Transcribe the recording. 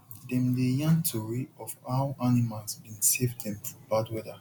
dem dey yarn tori of how animals bin save dem for bad weather